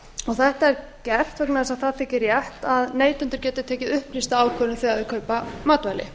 þetta er gert vegna þess að það þyki rétt að neytendur geti tekið upplýsta ákvörðun þegar þeir kaupa matvæli